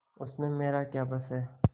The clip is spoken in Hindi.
उसमें मेरा क्या बस है